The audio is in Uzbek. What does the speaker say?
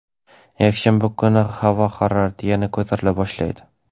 Yakshanba kuni havo harorati yana ko‘tarila boshlaydi.